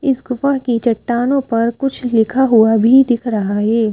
इस गुफा की चट्टानों पर कुछ लिखा हुआ भी दिख रहा है ।